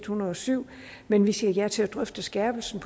hundrede og syv men vi siger ja til at drøfte skærpelsen